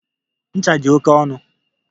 Ncha dị oke ọnụ.